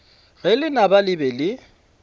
ge lenaba le be le